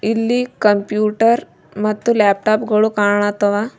ಇಲ್ಲಿ ಕಂಪ್ಯೂಟರ್ ಮತ್ತು ಲ್ಯಾಪ್ಟಾಪ ಗಳು ಕಾಣತ್ತವ.